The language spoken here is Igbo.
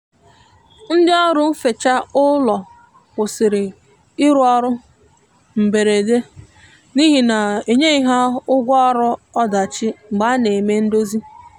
ndi ọrụ nfecha ụlọ kwusịrị irụ ọrụ mgberede n'ihi na enyeghi ha ụgwọ ọrụ ọdachi mgbe a na eme ndozi